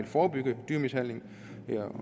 forebygge dyremishandling ved at